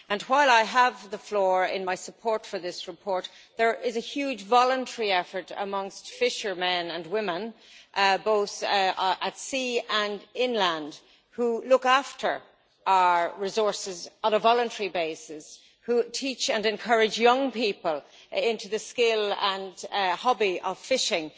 While I have the floor in my support for this report, there is a huge voluntary effort amongst fishermen and women, both at sea and inland, who look after our resources on a voluntary basis, who teach and encourage young people into the skill and hobby of fishing.